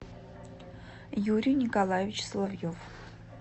юрий николаевич соловьев